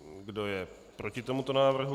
Kdo je proti tomuto návrhu?